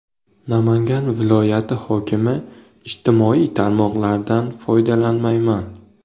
Namangan viloyati hokimi: Ijtimoiy tarmoqlardan foydalanmayman .